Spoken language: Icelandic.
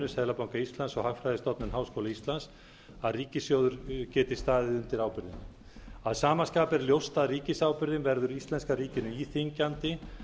seðlabanka íslands og hagfræðistofnun háskóla íslands að ríkissjóður geti staðið undir ábyrgðinni að sama skapi er ljóst að ríkisábyrgðin verður íslenska ríkinu íþyngjandi